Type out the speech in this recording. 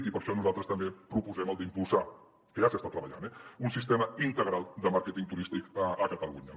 i per això nosaltres també proposem d’impulsar que ja s’hi està treballant eh un sistema integral de màrqueting turístic a catalunya